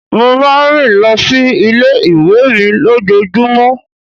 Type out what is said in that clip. Mo máa ń rìn lọ sí ilé ìwé mi lójoojúmó.